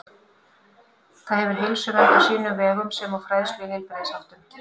Það hefur heilsuvernd á sínum vegum sem og fræðslu í heilbrigðisháttum.